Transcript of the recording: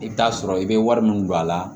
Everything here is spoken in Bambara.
I bɛ taa sɔrɔ i bɛ wari min don a la